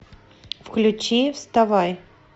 включи вставай